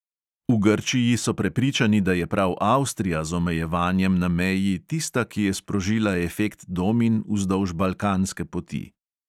V grčiji so prepričani, da je prav avstrija z omejevanjem na meji tista, ki je sprožila efekt domin vzdolž balkanske poti.